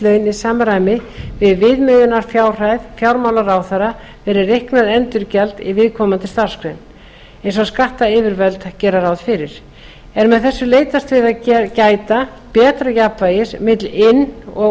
laun í samræmi við viðmiðunarfjárhæð fjármálaráðherra fyrir reiknað endurgjald í viðkomandi starfsgrein eins og skattyfirvöld gera ráð fyrir er með þessu leitast við að gæta betra jafnvægis milli inn og